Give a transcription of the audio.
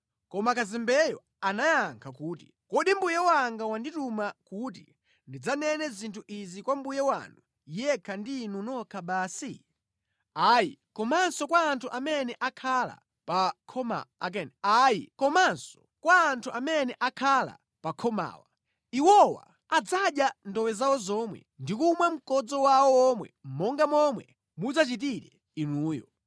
Koma kazembeyo anayankha kuti, “Kodi mbuye wanga wandituma kuti ndidzanene zinthu izi kwa mbuye wanu yekha ndi inu nokha basi? Ayi, komanso kwa anthu amene akhala pa khomawa. Iwowa adzadya chimbudzi chawo chomwe ndi kumwa mkodzo wawo womwe monga momwe mudzachitire inuyonso.”